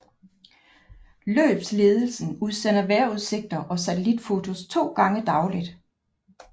Løbsledelsen udsender vejrudsigter og satellitfotos to gange dagligt